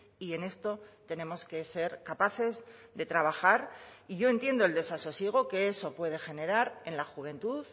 y en esto tenemos que ser capaces de trabajar y yo entiendo el desasosiego que eso puede generar en la juventud